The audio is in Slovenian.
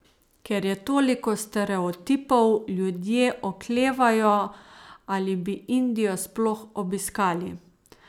Ker je toliko stereotipov, ljudje oklevajo, ali bi Indijo sploh obiskali.